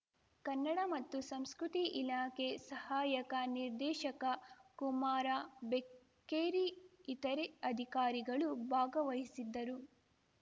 ಕನ್ನಡ ಮತ್ತು ಸಂಸ್ಕೃತಿ ಇಲಾಖೆ ಸಹಾಯಕ ನಿರ್ದೇಶಕ ಕುಮಾರ ಬೆಕ್ಕೇರಿ ಇತರೆ ಅಧಿಕಾರಿಗಳು ಭಾಗವಹಿಸಿದ್ದರು